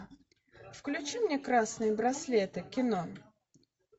включи мне красные браслеты кино